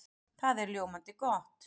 Það er ljómandi gott!